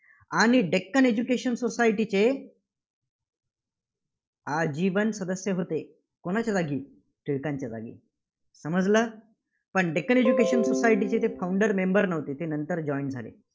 आणि डेक्कन एज्युकेशन सोसायटीचे आजीवन सदस्य होते. कोणाच्या जागी टिळकांच्या जागी. समजलं? पण डेक्कन एज्युकेशन सोसायटीचे ते Founder member नव्हते. ते नंतर joined झाले.